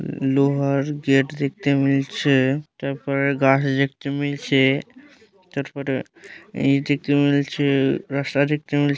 লোহার গেট দেখতে মিলছে তারপরে গাড়ি দেখতে মিলছে তারপরে এই দিক দিয়ে মিলছে রাস্তা দেখতে মিল--